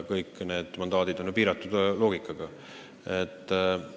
Kõik need mandaadid on ju loogiliselt piiratud.